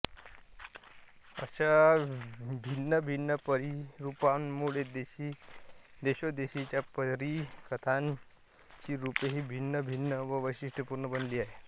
अशा भिन्नभिन्न परीरूपांमुळे देशोदेशीच्या परीकथांची रूपेही भिन्नभिन्न व वैशिष्ट्यपूर्ण बनली आहेत